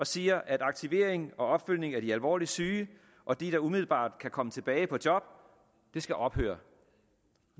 siger at aktivering og opfølgning i forbindelse med de alvorligt syge og de der umiddelbart kan komme tilbage på job skal ophøre